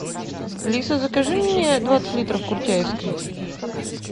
алиса закажи мне двадцать литров куртяевской